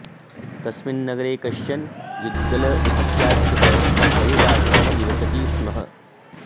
तस्मिन् नगरे कश्चन युद्गल इत्याख्यः परिव्राजकः निवसति स्म